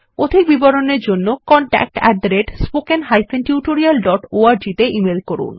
অধিক বিবরণের জন্য contactspoken tutorialorg তে ইমেল করুন